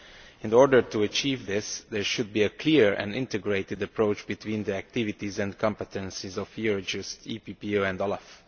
In order to achieve this, there should be a clear and integrated approach between the activities and competences of EUROJUST, EPPO and OLAF.